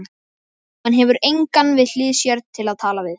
Hann hefur engan við hlið sér til að tala við.